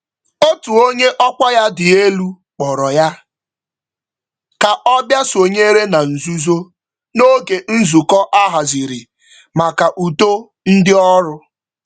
Otu onye isi otu kpọrọ ya ka ọ soro nzukọ maka mgbasawanye ọganihu ọrụ.